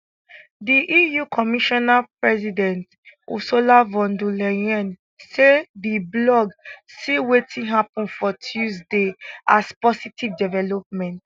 di eu commissioner president ursula von der leyen say di bloc see wetin happun for tuesday as positive development